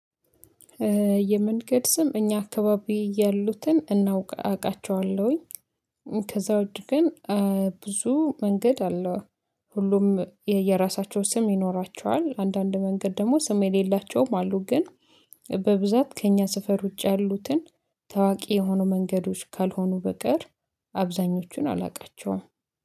የመንገድ ስም እኛ አካባቢ ያሉትን እናውቃ አቃቸዋለሁኝ። ከዛ ውጪ ግን ብዙ መንገድ አለው። ሁሉም የየራሳቸው ስም ይኖራቸዋል አንዳንድ መንገድ ደግሞ ስም የሌላቸውም አሉ ግን። በብዛት ከእኛ ስፈር ውጪ ያሉትን ታዋቂ የሆኑ መንገዶች ካልሆኑ በቀር አብዛኞቹን አላውቃቸውም